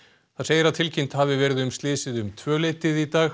þar segir að tilkynnt hafi verið um slysið um tvö leytið í dag